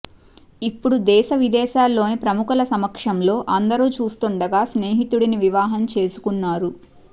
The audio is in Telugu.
ఇప్పుడు దేశ విదేశాలలోని ప్రముఖల సమక్షంలో అందరూ చూస్తుండగా స్నేహితుడిని వివాహం చేసుకున్నారు